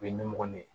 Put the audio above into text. U ye ɲɛmɔgɔ ni ye